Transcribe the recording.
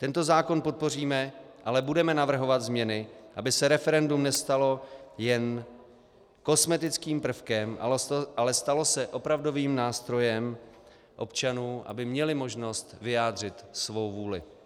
Tento zákon podpoříme, ale budeme navrhovat změny, aby se referendum nestalo jen kosmetickým prvkem, ale stalo se opravdovým nástrojem občanů, aby měli možnost vyjádřit svou vůli.